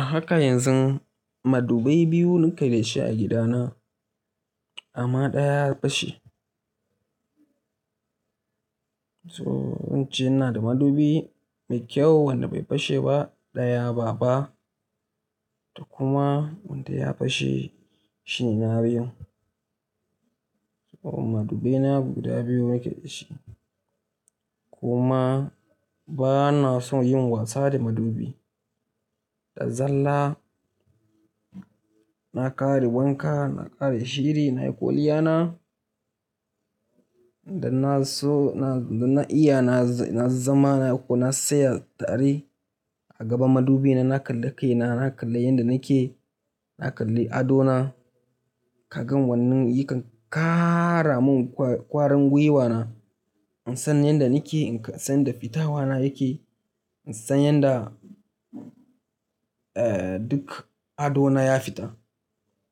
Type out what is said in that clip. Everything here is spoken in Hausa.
A haka yanzun, madubai biyu nuka da shi a gidana. Amma ɗaya ya fashe. So, wance ina da madubi mai kyau wanda bai fashe ba, ɗaya babba da kuma wanda ya fashe shine na biyu. So madubi na guda biyu nake da shi, kuma bana son yin wasa da madubi. Da zaran na ƙare wanka, na ƙare shiri, nayi kwaliyana, da na so na, da na iya na, na zama nayi ko na tsaya tari. A gaban madubi na, na kalla kaina, na kalla yanda nake, na kalla ado na, kagan wannan yakan ƙara mun ƙwarangwiwa na. In san yanda nake, in san yanda fitawa na yake, in san yanda, eh, duk ado na ya fita.